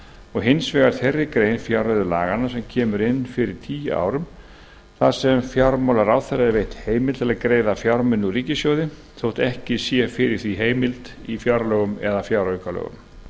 og hins vegar þeirri grein fjárreiðulaganna sem kemur inn fyrir tíu árum þar sem fjármálaráðherra er veitt heimild til að greiða fjármuni úr ríkissjóði þótt ekki sé fyrir því heimild í fjárlögum eða fjáraukalögum sú heimild er